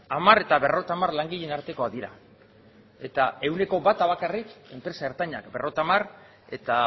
hamar eta berrogeita hamar langileen artekoak dira eta ehuneko bata bakarrik enpresa ertainak berrogeita hamar eta